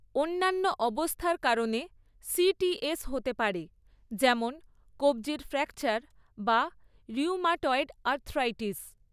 অন্যান্য অবস্থার কারণে সিটিএস হতে পারে, যেমন কব্জির ফ্র্যাকচার বা রিউমাটয়েড আর্থ্রাইটিস।